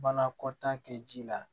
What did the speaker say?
Banakɔtaa kɛ ji la